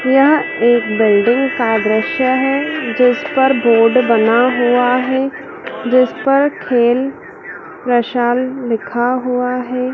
यह एक बिल्डिंग का दृश्य है जिस पर बोर्ड बना हुआ है। जिस पर खेल प्रशाल लिखा हुआ है।